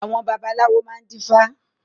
Àwọn babaláwo máa ń dífá